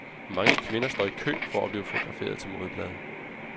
Mange kvinder står i kø for at blive fotograferet til modeblade.